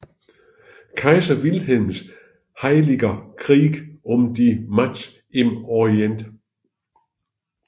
Kaiser Wilhelms Heiliger Krieg um die Macht im Orient